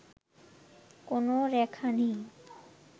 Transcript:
কোন রেখা নেই